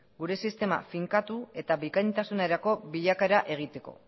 gure sistema finkatu eta bikaintasunerako bilakaera egiteko